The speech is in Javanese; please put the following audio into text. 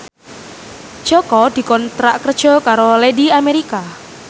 Jaka dikontrak kerja karo Lady America